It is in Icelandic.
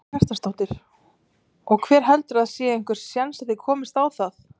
Karen Kjartansdóttir: Og heldurðu að það sé einhver séns að þið komist á það?